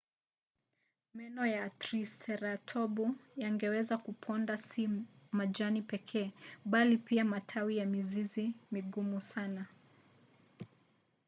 meno ya triseratopu yangeweza kuponda si majani pekee bali pia matawi na mizizi migumu sana